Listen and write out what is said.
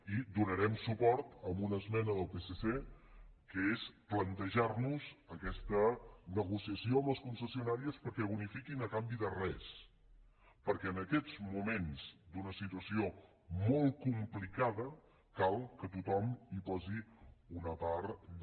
i donarem suport a una esmena del psc que és plantejar nos aquesta negociació amb les concessionàries perquè bonifiquin a canvi de res perquè en aquests moments d’una situació molt complicada cal que tothom hi posi una part de